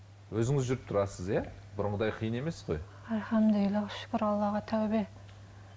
өзіңіз жүріп тұрасыз иә бұрынғыдай қиын емес қой альхамдулилля шүкір аллаға тәубе